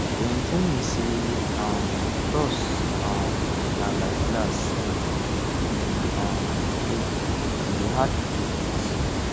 dem tell me sey um trust um na like glass if e um break e hard to fix